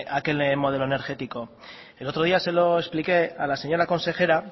aquel modelo energético el otro día se lo expliqué a la señora consejera